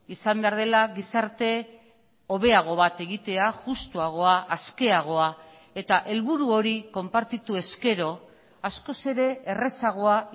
izan behar dela gizarte hobeago bat egitea justuagoa askeagoa eta helburu hori konpartitu ezkero askoz ere errazagoa